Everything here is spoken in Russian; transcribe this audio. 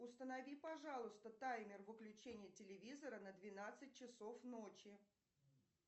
установи пожалуйста таймер выключения телевизора на двенадцать часов ночи